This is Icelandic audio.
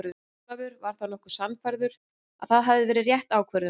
Ólafur var nokkuð sannfærður að það hafi verið rétt ákvörðun.